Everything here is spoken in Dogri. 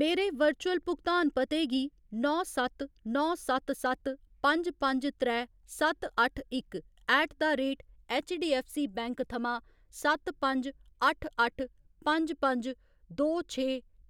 मेरे वर्चुअल भुगतान पते गी नौ सत्त नौ सत्त सत्त पंज पंज त्रै सत्त अट्ठ इक ऐट द रेट ऐच्चडीऐफ्फसीबैंक थमां सत्त पंज अट्ठ अट्ठ पंज पंज दो छे